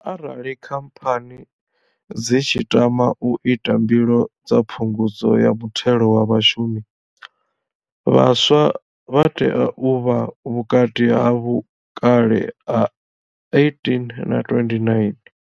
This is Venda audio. Arali khamphani dzi tshi tama u ita mbilo dza phungudzo ya muthelo wa vhashumi, vhaswa vha tea u vha vhukati ha vhukale ha 18 na 29.